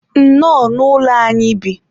nnọọ, n'ụlọ anyị bi.